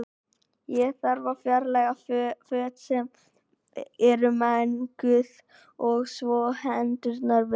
Þá þarf að fjarlæga föt sem eru menguð og þvo hendurnar vel.